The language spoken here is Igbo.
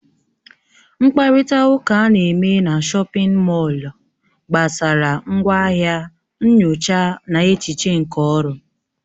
Mkparịta ụka ana-eme na shọpin mọll gbasara ngwaahịa, nyocha na echiche nke ọrụ.